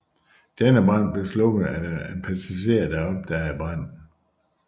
Denne brand blev slukket af den passager der opdagede branden